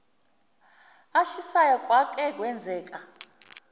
ashisayo kwake kwenzeka